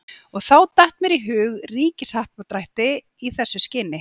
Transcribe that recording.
Og þá datt mér í hug ríkishappdrætti í þessu skyni.